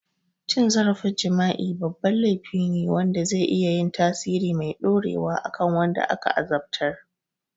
Cin zarafin jima'i babban laifi ne wanda zai iya yin tasiri mai dorewa a kan wanda aka azabtar.